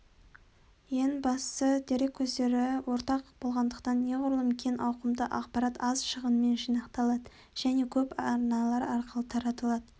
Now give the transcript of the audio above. ең бастысы дерек көздері ортақ болғандықтан неғұрлым кең ауқымды ақпарат аз шығынмен жинақталады және көп арналар арқылы таратылады